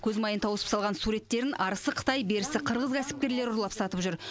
көз майын тауысып салған суреттерін арысы қытай берісі қырғыз кәсіпкерлері ұрлап сатып жүр